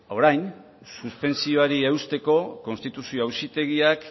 orain suspentsioari eusteko konstituzio auzitegiak